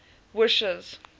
wishes